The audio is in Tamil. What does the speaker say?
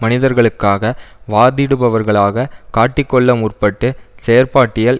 மனிதர்களுக்காக வாதிடுபவர்களாக காட்டிக் கொள்ள முற்பட்டு செயற்பாட்டியல்